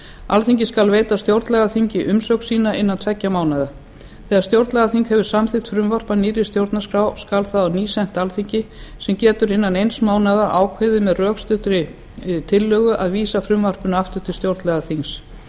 alþingi skal veita stjórnlagaþingi umsögn sína innan tveggja mánaða þegar stjórnlagaþing hefur samþykkt frumvarp að nýrri stjórnarskrá skal það á ný sent alþingi sem getur innan mánaðar ákveðið með rökstuddri tillögu að vísa frumvarpinu aftur til stjórnlagaþings